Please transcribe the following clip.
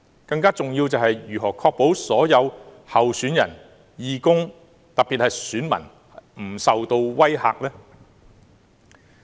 更重要的是，政府如何確保所有候選人、義工，特別是選民不受威嚇？